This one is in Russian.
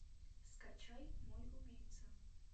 скачай мой убийца